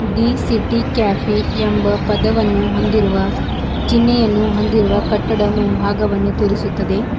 The city cafe ಎಂಬ ಪದವನ್ನು ಹೊಂದಿರುವ ಚಿನ್ಹೆಯನ್ನು ಹೊಂದಿರುವ ಕಟ್ಟಡ ಮುಂಭಾಗವನ್ನು ತೋರಿಸುತ್ತದೆ.